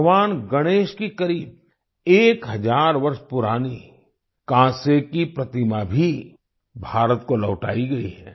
भगवान गणेश की करीब एक हजार वर्ष पुरानी कांसे की प्रतिमा भी भारत को लौटाई गई है